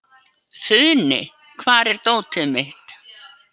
Funi, hvar er dótið mitt?